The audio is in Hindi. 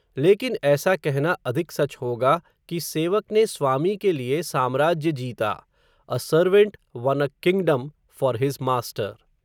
लेकिन ऐसा कहना अधिक सच होगा, कि सेवक ने, स्वामी के लिए साम्राज्य जीता, a servant won a kingdom, for his master